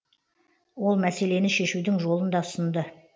ол мәселені шешудің жолын да ұсынды